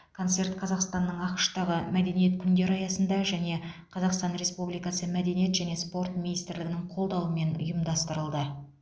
концерт қазақстанның ақш тағы мәдениет күндері аясында және қазақстан республикасы мәдениет және спорт министрлігінің қолдауымен ұйымдастырылды